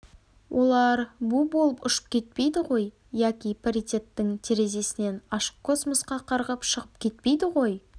олар бу болып ұшып кетпейді ғой яки паритеттің терезесінен ашық космосқа қарғып шығып кетпейді ғой